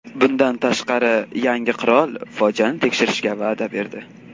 Bundan tashqari, yangi qirol fojiani tekshirishga va’da berdi.